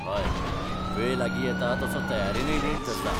हय, वेळ लागीं येता तसो तयारेनय नेट धरला.